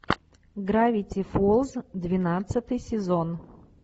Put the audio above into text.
гравити фолз двенадцатый сезон